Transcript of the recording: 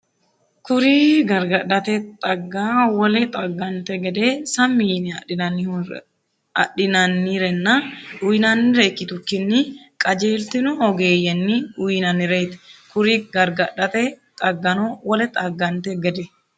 Kuri gargadhate xaggano wole xaggante gede sammi yine adhinannirenna uyinannire ikkitukkinni qajeeltino ogeeyyenni uyinannireeti Kuri gargadhate xaggano wole xaggante gede.